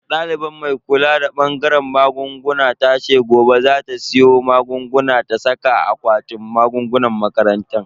Daliban mai kula da bangaren magunguna tace gobe za ta siyo magunguna ta saka a akwatin magungunan makarantar.